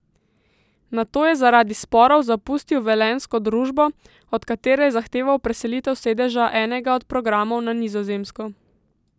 Nato je zaradi sporov zapustil velenjsko družbo, od katere je zahteval preselitev sedeža enega od programov na Nizozemsko.